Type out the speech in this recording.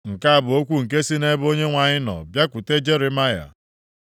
Nke a bụ okwu nke sị nʼebe Onyenwe anyị nọ bịakwute Jeremaya.